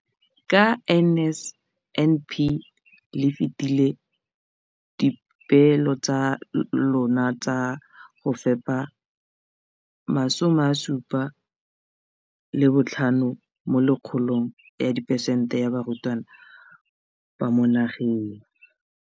Ka NSNP le fetile dipeelo tsa lona tsa go fepa masome a supa le botlhano a diperesente ya barutwana ba mo nageng.